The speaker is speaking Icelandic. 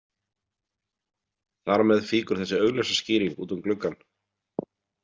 Þar með fýkur þessi augljósa skýring út um gluggann.